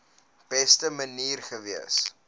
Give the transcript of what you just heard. beste manier gewees